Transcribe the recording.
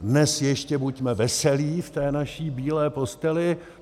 Dnes ještě buďme veselí v té naší bílé posteli.